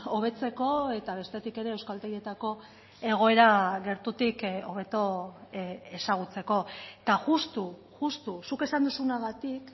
hobetzeko eta bestetik ere euskaltegietako egoera gertutik hobeto ezagutzeko eta justu justu zuk esan duzunagatik